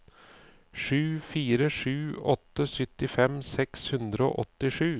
sju fire sju åtte syttifem seks hundre og åttisju